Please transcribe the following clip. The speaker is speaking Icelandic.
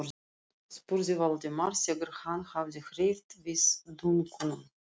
spurði Valdimar þegar hann hafði hreyft við dunkunum.